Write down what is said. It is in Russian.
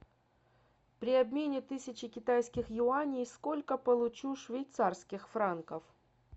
при обмене тысячи китайских юаней сколько получу швейцарских франков